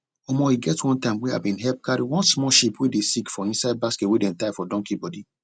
omo e get one time wey i bin help carry one small sheep wey dey sick for inside basket wey dem tie for donkey body